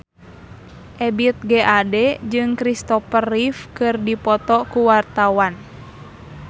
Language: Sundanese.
Ebith G. Ade jeung Kristopher Reeve keur dipoto ku wartawan